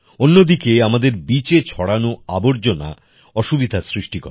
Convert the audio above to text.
অন্যদিকে আমাদের Beachএ ছড়ানো আবর্জনা অসুবিধা সৃষ্টি করে